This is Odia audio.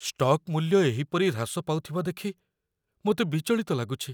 ଷ୍ଟକ୍ ମୂଲ୍ୟ ଏହିପରି ହ୍ରାସ ପାଉଥିବା ଦେଖି ମୋତେ ବିଚଳିତ ଲାଗୁଛି।